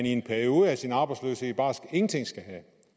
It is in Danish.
i en periode af sin arbejdsløshed bare ingenting skal have